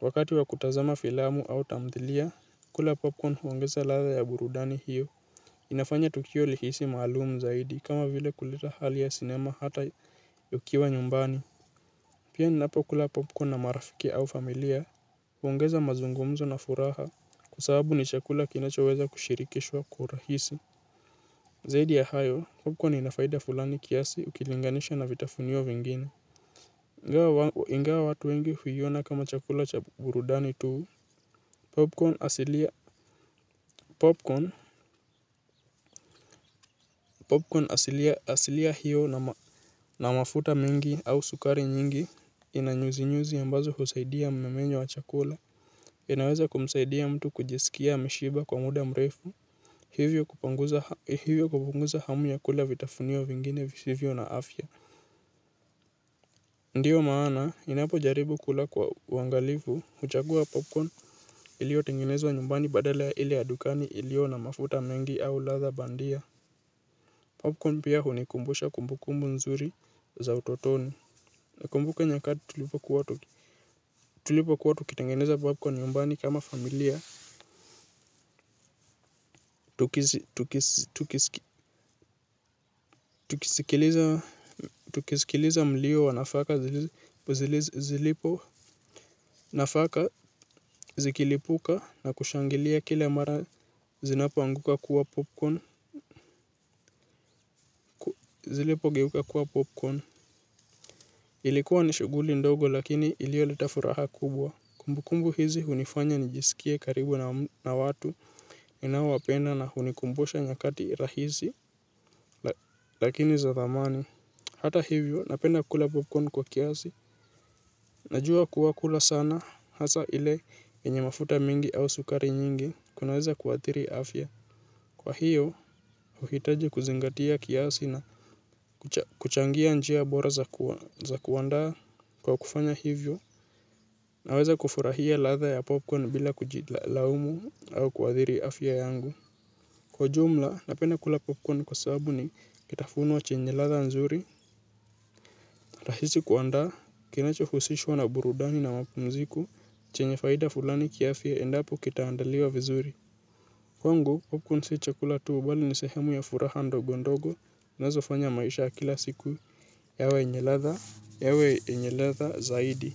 wakati wa kutazama filamu au tamthilia, kula popcorn huongeza ladha ya burudani hiyo. Inafanya tukio lihisi maalumu zaidi kama vile kuleta hali ya sinema hata ukiwa nyumbani. Pia ninapokula popcorn na marafiki au familia, huongeza mazungumzo na furaha kwa sababu ni chakula kinachoweza kushirikishwa kwa urahisi. Zaidi ya hayo, popcorn ina faida fulani kiasi ukilinganisha na vitafunio vingine. Ingawa, ingawa watu wengi huiona kama chakula cha burudani tu popcorn asilia, asilia hiyo na mafuta mingi au sukari nyingi ina nyuzinyuzi ambazo husaidia mmiminyo wa chakula. Inaweza kumsaidia mtu kujisikia ameshiba kwa muda mrefu, hivyo kupunguza hamu ya kula vitafunio vingine visivyo na afya. Ndiyo maana, ninapojaribu kula kwa uangalifu, huchagua popcorn iliyotengenezwa nyumbani badala ya ile ya dukani iliyo na mafuta mengi au ladha bandia. Popcorn pia hunikumbusha kumbukumbu nzuri za utotoni. Nakumbuka nyakati tulipokuwa tukitengeneza popcorn nyumbani kama familia. Tukisikiliza mlio wa nafaka zilipo, nafaka zikilipuka na kushangilia kila mara zinapoanguka kuwa popcorn. Zilipogeuka kuwa popcorn, ilikuwa ni shughuli ndogo lakini iliyoleta furaha kubwa. Kumbu kumbu hizi hunifanya nijisikie karibu na watu ninaowapenda na hunikumbusha nyakati rahisi, lakini za thamani. Hata hivyo napenda kula popcorn kwa kiasi. Najua kuwa kula sana hasa ile yenye mafuta mingi au sukari nyingi kunaweza kuathiri afya. Kwa hiyo, huhitaji kuzingatia kiasi na kuchangia njia bora za kuandaa. Kwa kufanya hivyo naweza kufurahia ladha ya popcorn bila kujilaumu au kuathiri afya yangu. Kwa jumla, napenda kula popcorn kwa sababu ni kitafunwa chenye ladha nzuri, rahisi kuandaa, kinachohusishwa na burudani na mapumziko, chenye faida fulani kiafya endapo kitaandaliwa vizuri. Kwangu, popcorn siyo chakula tu, bali ni sehemu ya furaha ndogo ndogo, inazofanya maisha ya kila siku, yawe yenye ladha, yawe yenye ladha zaidi.